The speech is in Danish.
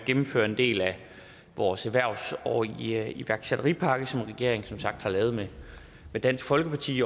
gennemfører en del af vores erhvervs og iværksætterpakke som regeringen som sagt har lavet med dansk folkeparti